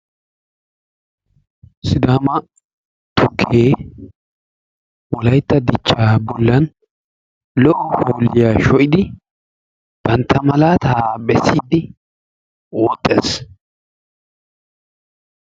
Sidaama tukkee Wolaytta dichchaa bollan lo"o hoolliya sho'idi bantta malaataa bessiiddi woxxees.